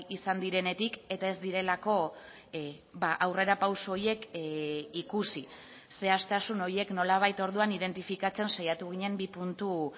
izan direnetik eta ez direlako aurrerapauso horiek ikusi zehaztasun horiek nolabait orduan identifikatzen saiatu ginen bi puntu